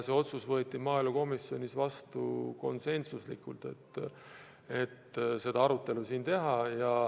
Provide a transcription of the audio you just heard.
See otsus võeti maaelukomisjonis vastu konsensusega.